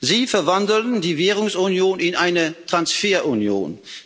Sie verwandeln die Währungsunion in eine Transferunion.